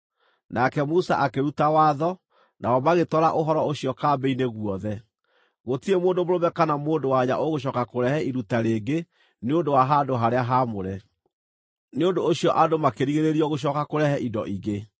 Nake Musa akĩruta watho, nao magĩtwara ũhoro ũcio kambĩ-inĩ guothe: “Gũtirĩ mũndũ mũrũme kana mũndũ-wa-nja ũgũcooka kũrehe iruta rĩngĩ nĩ ũndũ wa handũ-harĩa-haamũre.” Nĩ ũndũ ũcio andũ makĩrigĩrĩrio gũcooka kũrehe indo ingĩ,